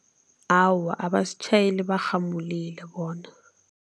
Awa, abasitjhayeli barhamulile bona.